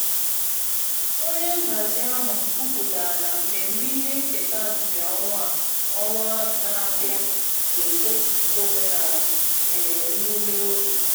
Onye nhazi ahụ kwuputara na mmemme ihe nketa nke ọnwa na-abịa ga-egosipụta omenala na emume oge